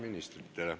Infotund on lõppenud.